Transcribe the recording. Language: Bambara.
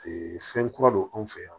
fɛn kura don an fɛ yan